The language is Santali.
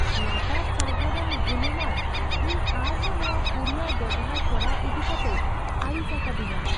ᱞᱟᱛᱟᱨ ᱥᱟᱨᱵᱷᱟᱨᱟᱱ ᱜᱩᱱᱢᱟᱱ ᱤᱧ ᱟᱨ ᱦᱚᱸ ᱱᱚᱣᱟ ᱠᱩᱨᱤᱭᱟᱨ ᱵᱮᱣᱦᱟᱨ ᱠᱚᱨᱟᱣ ᱤᱫᱤ ᱠᱟᱛᱮᱭ ᱟᱹᱲᱤᱥ ᱟᱠᱟᱫᱤᱧᱟᱹ ᱾